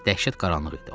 Dəhşət qaranlıq idi.